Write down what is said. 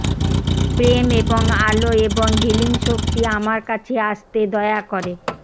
প্রেম এবং আলো এবং হিলিং শক্তি আমার কাছে আসতে দয়া করে